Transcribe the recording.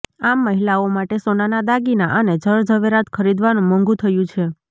આમ મહિલાઓ માટે સોનાનાં દાગીના અને જરઝવેરાત ખરીદવાનું મોંઘું થયું છે